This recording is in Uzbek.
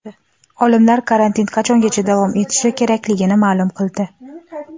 Olimlar karantin qachongacha davom etishi kerakligini ma’lum qildi.